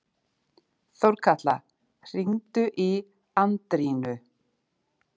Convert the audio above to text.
Þórkatla, hringdu í Andrínu.